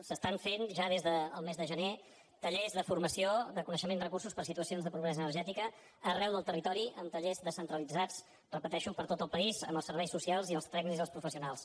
s’estan fent ja des del mes de gener tallers de formació de coneixement de recursos per a situacions de pobresa energètica arreu del territori amb tallers descentralitzats ho repeteixo per tot el país amb els serveis socials i els tècnics i els professionals